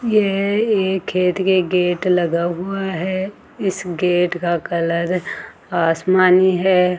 यह एक खेत के गेट लगा हुआ है इस गेट का कलर आसमानी है।